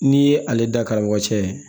N'i ye ale da karamɔgɔ cɛ